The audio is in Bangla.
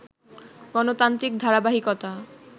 গণতান্ত্রিক ধারাবাহিকতা